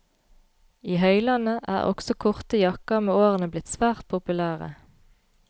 I høylandet er også korte jakker med årene blitt svært populære.